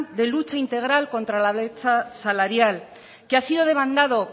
de lucha integral contra la brecha salarial que ha sido demandado